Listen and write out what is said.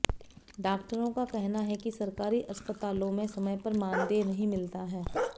डॉक्टरों का कहना है की सरकारी अस्पतालों में समय पर मानदेय नहीं मिलता है